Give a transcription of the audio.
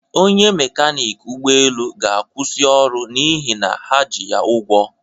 Onye mekanịk ụgbọelu ga-akwụsị ọrụ n'ihi na ha ji ya ụgwọ